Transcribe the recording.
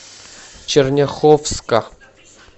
черняховска